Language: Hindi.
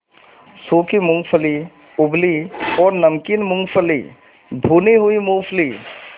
सूखी मूँगफली उबली और नमकीन मूँगफली भुनी हुई मूँगफली